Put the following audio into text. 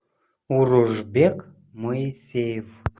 уружбек моисеев